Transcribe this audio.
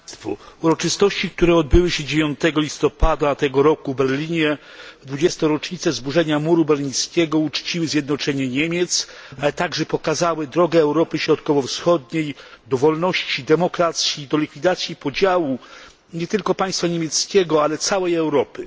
Panie przewodniczący! Uroczystości, które odbyły się 9 listopada tego roku w Berlinie w 20. rocznicę zburzenia muru berlińskiego, uczciły zjednoczenie Niemiec, ale także pokazały drogę Europy Środkowo Wschodniej do wolności, demokracji i likwidacji podziału nie tylko państwa niemieckiego, ale całej Europy.